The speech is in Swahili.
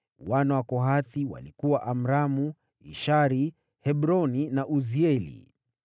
Wana wa Kohathi walikuwa: Amramu, Ishari, Hebroni na Uzieli.